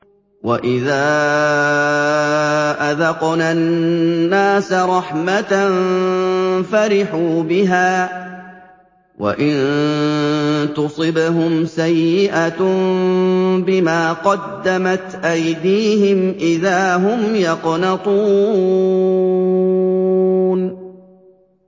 وَإِذَا أَذَقْنَا النَّاسَ رَحْمَةً فَرِحُوا بِهَا ۖ وَإِن تُصِبْهُمْ سَيِّئَةٌ بِمَا قَدَّمَتْ أَيْدِيهِمْ إِذَا هُمْ يَقْنَطُونَ